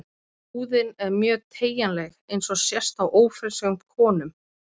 Húðin er mjög teygjanleg eins og sést á ófrískum konum.